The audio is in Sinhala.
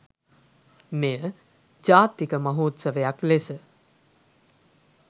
මෙය ජාතික මහෝත්සවයක් ලෙස